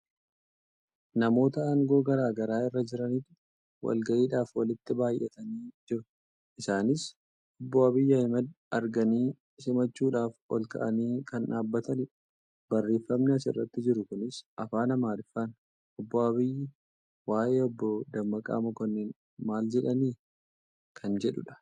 Namoota aangoo garaagaraa irra jiranitu walgayiidhaaf walitti baay'atanii jiru. Isaaniis obbo Abiyyi Ahmed arganii simachuudhaf ol ka'anii kan dhaabatanidha. Barreeffamni as irratti jiru kunis afaan amaariffaatin "obbo Abiyyii waa'ee obboo Dammaqaa Makkonnin maal jedhanii?" kan jedhudha.